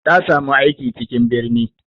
Ta samu aiki cikin birni.